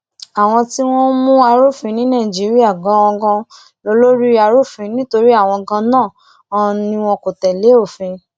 àwọn tí wọn ń mú arúfin ní nàìjíríà ganan lólórí arúfin nítorí àwọn ganan ni wọn kò tẹ̀lé òfin